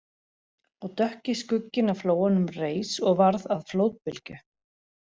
Og dökki skugginn á flóanum reis og varð að flóðbylgju